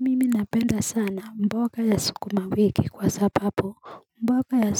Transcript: Mimi napenda sana mboka ya sukuma wiki kwa sapapu mboka ya